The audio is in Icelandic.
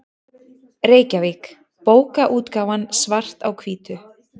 Reykjavík: Bókaútgáfan Svart á hvítu.